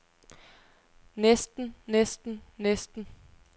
næsten næsten næsten